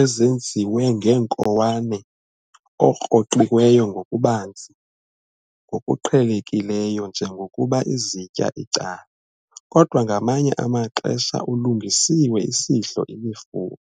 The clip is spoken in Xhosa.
ezenziwe neenkowane okroqiweyo ngokubanzi, ngokuqhelekileyo njengokuba izitya icala, kodwa ngamanye amaxesha ulungisiwe isidlo imifuno.